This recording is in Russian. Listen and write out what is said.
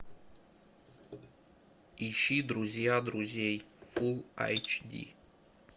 ищи друзья друзей фул айч ди